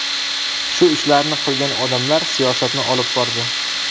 Shu ishlarni qilgan odamlar siyosatni olib bordi.